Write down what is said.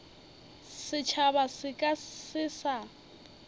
setšhaba se ka se sa